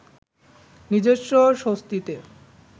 নিজস্ব স্বস্তিতে